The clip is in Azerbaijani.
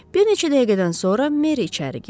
Bir neçə dəqiqədən sonra Meri içəri girdi.